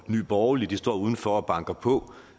nye borgerlige står uden for og banker på